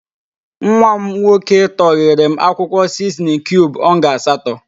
Nwa m n/ nnnnn? //n///nwoke tọgheere m akwụkwọ siznin kiub ọnga asatọ.